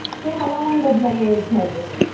हे हवामान बदलामुळेच झाले आहे